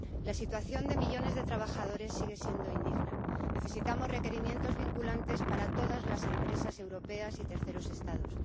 La situación de millones de trabajadores sigue siendo indigna. Necesitamos requerimientos vinculantes para todas las empresas europeas y los terceros Estados.